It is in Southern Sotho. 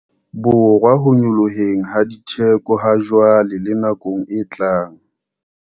Borwa ho nyolloheng ha ditheko hajwale le nakong e tlang.